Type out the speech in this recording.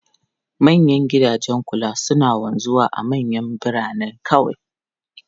Manyan gidajen kula suna wanzuwa a manyan birane kawai.